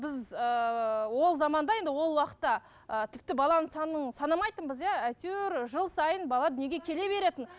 біз ыыы ол заманда енді ол уақытта ы тіпті баланың санын санамайтынбыз иә әйтеуір жыл сайын бала дүниеге келе беретін